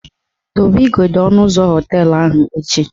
Dobe igodo ọnụ ụzọ họteelụ ahụ echi!